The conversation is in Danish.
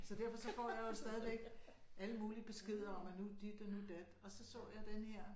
Så derfor så får jeg jo stadigvæk alle mulige beskeder om at nu dit og nu dat og så så jeg denne her